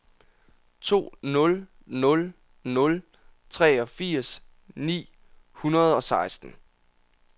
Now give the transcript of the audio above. to nul nul nul treogfirs ni hundrede og seksten